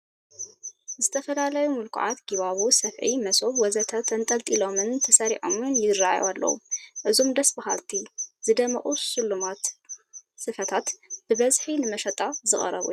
ዝተፈላለዩ ምልኩዓት ጊባቦ፣ ሰፍኢ፣ መሶብ ወዘተ ተንጠልጢሎምን ተሰሪዖምን ይርአዩ ኣለዉ፡፡ እዞም ደስ በሃልቲ ዝደመቑ ሽሉማት ስፈታት ብብዝሒ ንመሸጣ ዝቐረቡ እዮም፡፡